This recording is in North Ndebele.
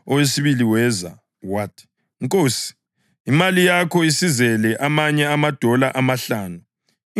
Owesibili weza wathi, ‘Nkosi, imali yakho isizele amanye amadola amahlanu.’